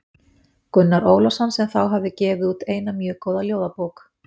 Gunnar Ólafsson sem þá hafði gefið út eina mjög góða ljóðabók.